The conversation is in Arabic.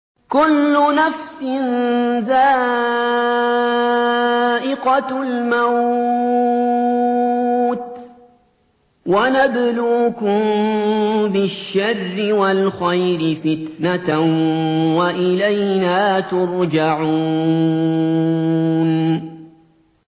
كُلُّ نَفْسٍ ذَائِقَةُ الْمَوْتِ ۗ وَنَبْلُوكُم بِالشَّرِّ وَالْخَيْرِ فِتْنَةً ۖ وَإِلَيْنَا تُرْجَعُونَ